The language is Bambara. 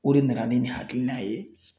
O de nana ni nin hakilina ye.